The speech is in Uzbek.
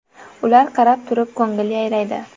Ular qarab turib, ko‘ngil yayraydi!